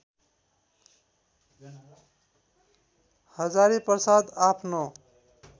हजारीप्रसाद आफ्नो